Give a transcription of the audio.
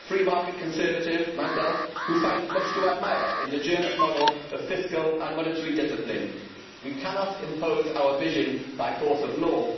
As a free market conservative myself who finds much to admire in the German model of fiscal and monetary discipline, we cannot impose our vision by force of law